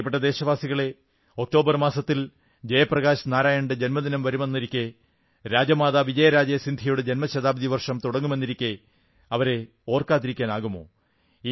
പ്രിയപ്പെട്ട ദേശവാസികളേ ഒക്ടോബർ മാസത്തിൽ ജയപ്രകാശ് നാരായണന്റെ ജന്മദിനം വരുന്നെന്നിരിക്കെ രാജമാതാ വിജയരാജെ സിന്ധ്യയുടെ ജന്മശതാബ്ദി വർഷം തുടങ്ങുന്നുവെന്നിരിക്കെ അവരെ ഓർക്കാതിരിക്കാനാവുമോ